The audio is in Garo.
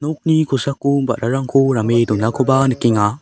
nokni kosako ba·rarangko rame donakoba nikenga.